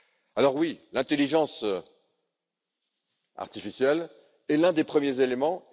Alors oui, l'intelligence artificielle est l'un des premiers éléments.